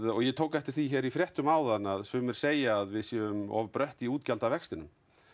og ég tók eftir því í fréttum áðan að sumir segja að við séum of brött í útgjaldavextinum